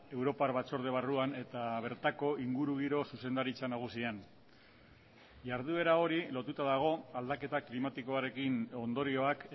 europar batzorde barruan eta bertako ingurugiro zuzendaritza nagusian jarduera hori lotuta dago aldaketa klimatikoarekin ondorioak